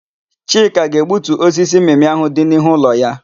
Chika ga-egbutu osisi mmịmị áhụ̀ dị n'ihu ụlọ ya.